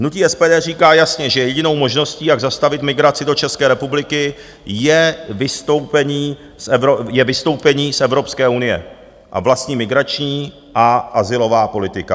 Hnutí SPD říká jasně, že jedinou možností, jak zastavit migraci do České republiky, je vystoupení z Evropské unie a vlastní migrační a azylová politika.